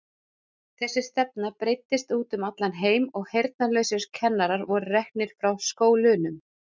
Þessi stefna breiddist út um allan heim og heyrnarlausir kennarar voru reknir frá skólunum.